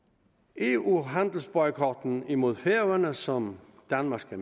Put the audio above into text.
eu handelsboykotten mod færøerne som danmark skal